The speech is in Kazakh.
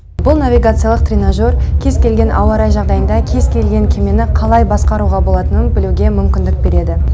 бұл навигациялық тренажер кез келген ауа райы жағдайында кез келген кемені қалай басқаруға болатынын білуге мүмкіндік береді